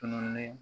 Tununi